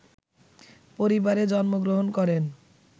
পরিবারে জন্মগ্রহণ করেন